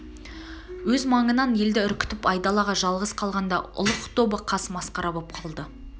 өз маңынан елді үркітіп айдалада жалғыз қалғанда ұлық тобы қас масқара боп қалды